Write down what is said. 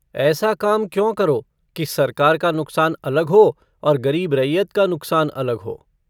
ऐसा काम क्यों करो कि सरकार का नुकसान अलग हो और गरीब रैयत का नुकसान अलग हो।